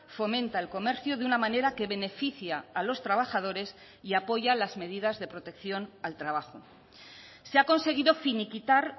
fomenta el comercio de una manera que beneficia a los trabajadores y apoya las medidas de protección al trabajo se ha conseguido finiquitar